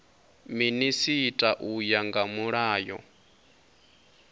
minisita u ya nga mulayo